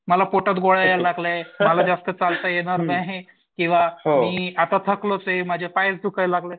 मला पोटात गोळा यायला लागलाय, मला जास्त चालता येणार नाही. किंवा मी आता थकलोच आहे माझे पाय दुखायला लागलेत.